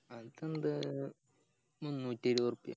അതെന്താ മുന്നൂറ്റി ഇരുപ രൂപിയെ